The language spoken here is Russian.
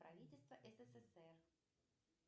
правительство ссср